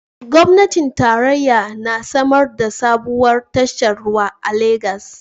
Gwamnatin tarayya na samar da sabuwar tashar ruwa a Legas